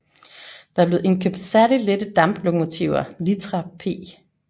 Der blev indkøbt særlig lette damplokomotiver Litra P